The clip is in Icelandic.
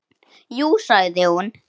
Jú sagði hún.